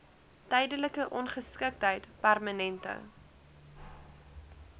tydelike ongeskiktheid permanente